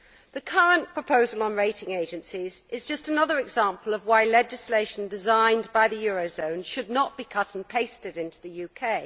The current proposal on rating agencies is just another example of why legislation designed by the eurozone should not be cut and pasted into the UK.